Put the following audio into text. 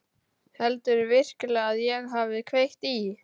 Heldurðu virkilega að ég hafi kveikt í?